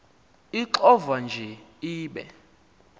ixovwa nje ibe